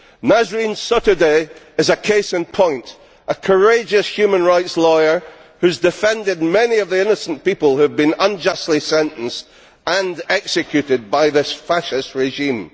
Nasrin Sotoudeh is a case in point a courageous human rights lawyer who has defended many of the innocent people unjustly sentenced and executed by this fascist regime.